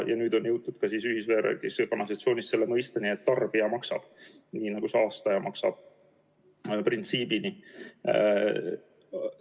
Nüüd on jõutud ka ühisveevärgis ja -kanalisatsioonis selle saastaja-maksab-printsiibini.